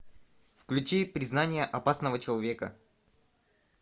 включи признание опасного человека